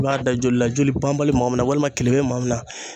I b'a da joli la joli banbali bɛ maa min na walima kelebe bɛ maa min na